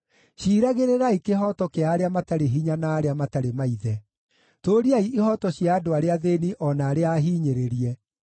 “Ciiragĩrĩrai kĩhooto kĩa arĩa matarĩ hinya na arĩa matarĩ maithe; tũũriai ihooto cia andũ arĩa athĩĩni o na arĩa ahinyĩrĩrie.